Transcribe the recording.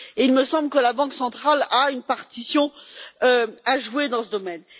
Il me semble que la Banque centrale a une partition à jouer dans ce domaine.